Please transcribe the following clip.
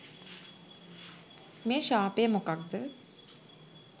මේ ශාපය මොකක්ද